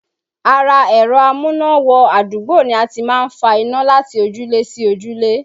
Ara ẹ̀rọ amúná-wọ-adúgbò ni a ti máa ń fa iná láti ojúlé sí ojúlé